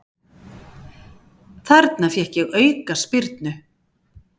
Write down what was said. Þarna fékk ég aukaspyrnu.